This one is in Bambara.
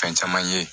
Fɛn caman ye